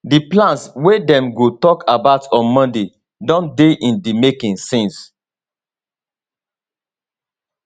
di plans wey dem go tok about on monday don dey in di making since